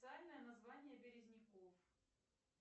название березников